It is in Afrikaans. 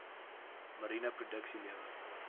mariene produksie lewer